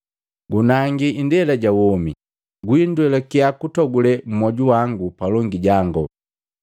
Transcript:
Gunaangi indela ja womi, gwindwelakiya kutogule mmoju wangu palongi jango!”